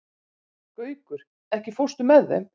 Gaukur, ekki fórstu með þeim?